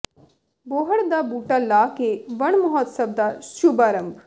ਬੋਹੜ ਦਾ ਬੂਟਾ ਲਾ ਕੇ ਵਣ ਮਹਾਉਤਸਵ ਦਾ ਸ਼ੁਭ ਆਰੰਭ